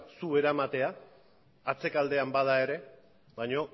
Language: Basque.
zu eramatea atzekaldean bada ere baina